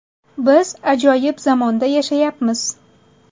Biz ajoyib zamonda yashayapmiz.